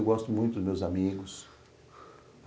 Eu gosto muito dos meus amigos.